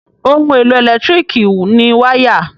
Ohun-èlò ẹ̀lẹ́tíríkì ni wáyà.